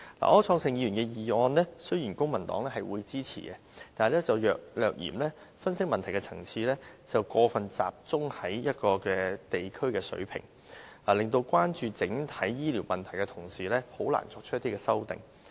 對於柯創盛議員提出的議案，雖然公民黨會支持，但略嫌分析問題的層次過分集中於地區的水平，令關注整體醫療問題的同事難以作出修訂。